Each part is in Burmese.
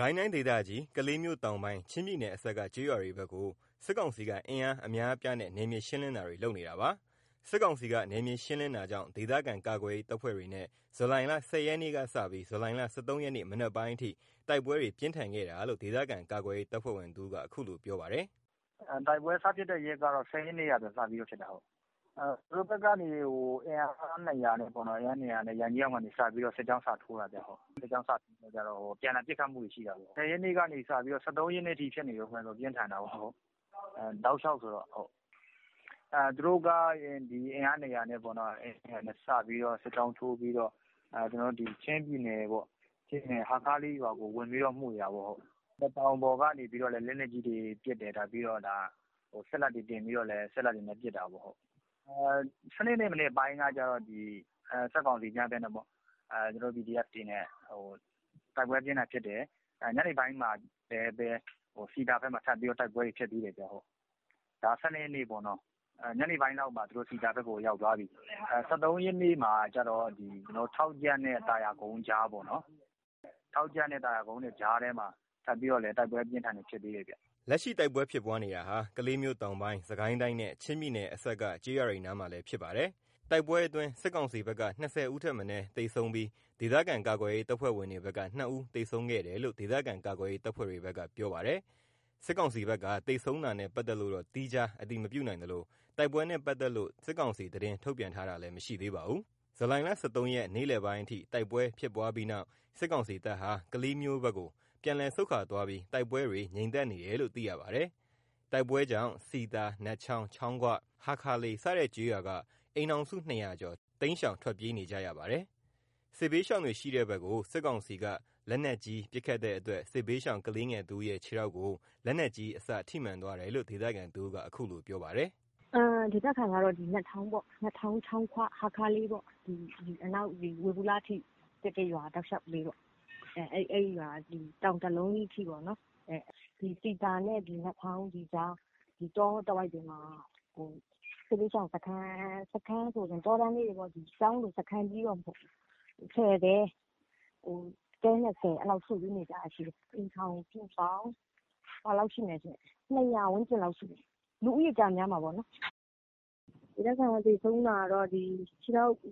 ကိုင်းတိုင်းဒေသကြီး ကလေးမြို့ တောင်ပိုင်း ချင်းပြည်နယ်အစပ်က ကျေးရွာတွေဘက်ကို စစ်ကောင်စီက အင်အား အများအပြားနဲ့ နယ်မြေရှင်းလင်းတာတွေ လုပ်နေတာပါ။ စစ်ကောင်စီက နယ်မြေရှင်းလင်းတာကြောင့် ဒေသခံကာကွယ်ရေး တပ်ဖွဲ့တွေနဲ့ ဇူလိုင် ၁၀ ရက်ကစပြီး ဇူလိုင် ၁၃ ရက် မနက်ပိုင်းအထိ တိုက်ပွဲတွေ ပြင်းထန်ခဲ့တာလို့ ဒေသခံကာကွယ်ရေး တပ်ဖွဲ့ဝင်တဦးက အခုလိုပြောပါတယ်။ “တိုက်ပွဲစဖြစ်တဲ့နေ့က ၁၀ ရက်နေ့က စပြီးတော့ဖြစ်တာ။ သူတို့ဘက်ကနေ အင်အား ၂၀၀ နဲ့ ရန်ကြီးအောင်(စစ်ဆေးရေးဂိတ်) ကနေ စပြီး စစ်ကြောင်းစထိုးတာခင်ဗျ။ စစ်ကြောင်စထိုးတော့ အပြန်အလှန် ပစ်ခတ်မှုတွေရှိတာပေါ့။ ၁၀ ရက်နေ့ကနေစပြီး ၁၃ ရက်နေ့အထိ တိုက်ပွဲတွေ ဖြစ်တာ တော်တော်ပြင်းထန်တယ်။ သူတို့က အင်အား ၂၀၀ နဲ့ စပြီး စစ်ကြောင်းထိုးပြီးတော့ ချင်းပြည်နယ် ဟားခါးလေးရွာကို မွှေတာပေါ့။ တောင်ပေါ်ကနေ လက်နက်ကြီးတွေနဲ့ပစ်တယ်။ စက်လက်တွေတင်ပြီး စက်လက်တွေနဲ့လည်း ပစ်တာပေါ့။ ၁၂ ရက်နေ့က စစ်ကောင်စီတွေနဲ့ ကျွန်တော်တို့ PDF တွေနဲ့ တိုက်ပွဲအပြင်းအထန်ဖြစ်တယ်။ ညနေပိုင်းမှာလည်း စည်သာဘက်မှာ တိုက်ပွဲတွေ ထပ်ဖြစ်သေးတယ်။ ဒါ ၁၂ ရက်နေ့ပေါ့။ ညနေပိုင်းမှာ သူတို့စည်သာဘက်ကို ရောက်သွားပြီ ၁၃ ရက်မှာကြတော့ ထောက်ကြန့်ရွာ သာယာကုန်းရွာ ကြားမှာ ထပ်ပြီးတော့ တိုက်ပွဲအပြင်းအထန်ဖြစ်သေးတယ်။” လက်ရှိတိုက်ပွဲဖြစ်ပွားနေတာဟာ ကလေးမြို့တောင်ပိုင်း စစ်ကိုင်းတိုင်းနဲ့ ချင်းပြည်နယ်အစပ်က ကျေးရွာတွေနားမှာလည်းဖြစ်ပါတယ်။ တိုက်ပွဲအတွင်း စစ်ကောင်စီဘက်က ၂၀ ဦးထက် မနည်းသေဆုံးပြီး ဒေသခံကာကွယ်ရေး တပ်ဖွဲ့ဝင်တွေဘက်က ၂ ဦးသေဆုံးခဲ့တယ်လို့ ဒေသခံကာကွယ်ရေး တပ်ဖွဲ့တွေဘက်ကပြောပါတယ်။ စစ်ကောင်စီဘက်က သေဆုံးတာနဲ့ ပတ်သက်လို့တော့ သီးခြားအတည်မပြုနိုင်သလို၊ တိုက်ပွဲနဲ့ပတ်သက်လို့ စစ်ကောင်စီသတင်းထုတ်ပြန်တာလည်း မရှိသေးပါဘူး။ ဇူလိုင် ၁၃ ရက် နေ့လည်ပိုင်းအထိ တိုက်ပွဲဖြစ်ပွားပြီးနောက် စစ်ကောင်စီတပ်ဟာ ကလေးမြို့ဘက်ကို ပြန်လည်ဆုတ်ခွါသွားပြီး တိုက်ပွဲတွေ ငြိမ်သက်နေတယ်လို့ သိရပါတယ်။ တိုက်ပွဲကြောင့် စည်သာ နတ်ချောင်း ချောင်းဂွ ဟားခါးလေး စတဲ့ကျေးရွာက အိမ်ထောင်စု ၂၀၀ ကျော် တိမ်းရှောင်ထွက်ပြေးနေရပါတယ်။ စစ်ဘေးရှောင်တွေရှိတဲဘက်ကို စစ်ကောင်စီက လက်နက်ကြီးပစ်ခတ်တဲ့အတွက် စစ်ဘေးရှောင်ကလေးငယ်တဦးရဲ့ ခြေထောက်ကို လက်နက်ကြီး အစထိမှန်သွားတယ်လို့ ဒေသခံတဦးက အခုလိုပြောပါတယ်။ “ဒေသခံတွေက နတ်ချောင်းပေါ့ ချောင်းဂွ ဟားခါးလေး အနောက်ဝေဘူလအထိ အဲ့ရွာတွေတောက်လျှောက်ပေါ့ တောင်တလုံးအထိ စည်သာနဲ့ နတ်ချောင်းကြား တောတဝိုက်မှာ စစ်ဘေးရှောင်စခန်း စခန်းဆိုပေမယ့် တောကျောင်းလေးတွေပေါ့ ၁၀ တဲ တဲ ၂၀ အဲ့လိုစုပြီးနေကြတာရှိတယ်။ အိမ်ထောင်စုပေါင်း ၂၀၀ ဝန်းကျင်လောက်ရှိမယ်။ လူဦးရေကျတော့ များမှာပေါ့နော်။ ဒေသခံသေဆုံးတာကတော့ စစ်ရှောင်စ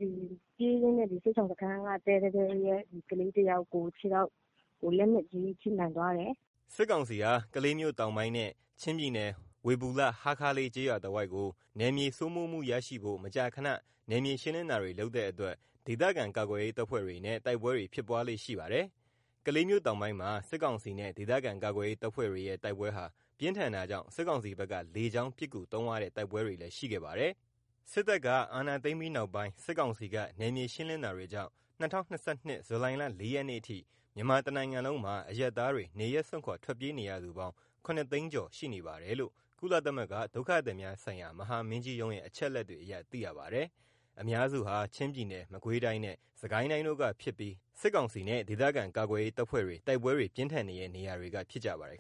ခန်းက တဲတတဲရဲ့ ကလေးတယောက်ရဲ့ ခြေထောက်ကို လက်နက်ကြီးထိမှန်သွားတယ်။” စစ်ကောင်စီဟာ ကလေးမြို့တောင်ပိုင်းနဲ့ ချင်းပြည်နယ် ဝေဘူလ ဟားခါးလေး ကျေးရွာတဝိုက်ကို နယ်မြေစိုးမိုးမှုရရှိဖို့ မကြာခဏနယ်မြေရှင်းလင်းတာတွေလုပ်တဲ့အတွက် ဒေသခံကာကွယ်ရေးတပ်ဖွဲ့တွေနဲ့ တိုက်ပွဲတွေ ဖြစ်ပွားလေ့ရှိပါတယ်။ ကလေးမြို့တောင်ပိုင်းမှာ စစ်ကောင်စီ နဲ့ ဒေသခံကာကွယ်ရေး တပ်ဖွဲ့တွေရဲ့ တိုက်ပွဲဟာ ပြင်းထန်တာကြောင့် စစ်ကောင်စီဘက်က လေကြောင်းပစ်ကူသုံးရတဲ့တိုက်ပွဲတွေလည်း ရှိခဲ့ပါတယ်။ စစ်တပ်က အာဏာသိမ်းပြီးနောက်ပိုင်း စစ်ကောင်စီက နယ်မြေရှင်းလင်းတာတွေကြောင့် ၂၀၂၂ ဇူလိုင်လ ၄ ရက်နေ့အထိ မြန်မာတနိုင်ငံလုံးမှာ အရပ်သားတွေ နေရပ်စွန့်ခွါ ထွက်ပြေးနေရသူ ၇၆၉၄၀၀ (ခုနှစ်သောင်းခွဲကျော်) ရှိနေပါတယ်လို့ ကုလသမဂ္ဂ ဒုက္ခသည်များဆိုင်ရာ မဟာမင်းကြီးရုံးရဲ့ အချက်အလက်တွေအရ သိရပါတယ်။ အများစုဟာ ချင်းပြည်နယ် မကွေးတိုင်းနဲ့ စစ်ကိုင်းတိုင်းတို့ကဖြစ်ပြီး စစ်ကောင်စီနဲ့ ဒေသခံကာကွယ်ရေး တပ်ဖွဲ့တွေ တိုက်ပွဲတွေ ပြင်းထန်နေတဲ့ နေရာတွေက ဖြစ်ပါတယ်